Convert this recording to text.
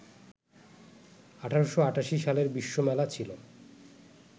১৮৮৮ সালের বিশ্বমেলা ছিলো